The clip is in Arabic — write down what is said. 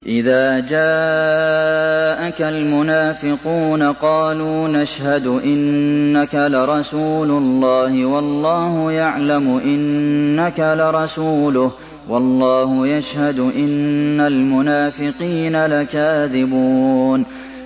إِذَا جَاءَكَ الْمُنَافِقُونَ قَالُوا نَشْهَدُ إِنَّكَ لَرَسُولُ اللَّهِ ۗ وَاللَّهُ يَعْلَمُ إِنَّكَ لَرَسُولُهُ وَاللَّهُ يَشْهَدُ إِنَّ الْمُنَافِقِينَ لَكَاذِبُونَ